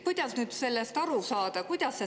Kuidas sellest nüüd aru saada?